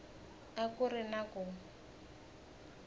a ku ri na ku